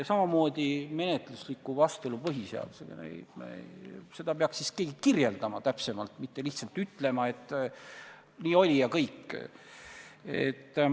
Sama võib öelda põhiseadusega menetlusliku vastuolu tekkimise kohta – seda peaks keegi täpsemalt kirjeldama, mitte lihtsalt ütlema, et nii oli ja kõik.